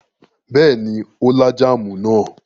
Bẹ́ẹ̀ ni, ó lá jáámù náà.